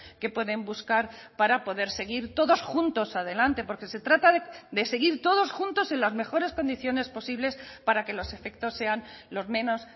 que pueden buscar para poder seguir todos juntos adelante porque se trata de seguir todos juntos en las mejores condiciones posibles para que los efectos sean los menos